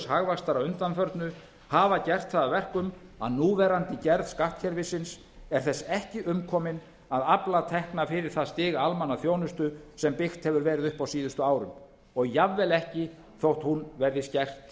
hagvaxtar að undanförnu hafa gert það að verkum að núverandi gerð skattkerfisins er þess ekki umkomin að afla tekna fyrir það stig almannaþjónustu sem byggt hefur verið upp á síðustu árum og jafnvel ekki þótt hún verði skert